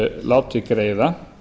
látið greiða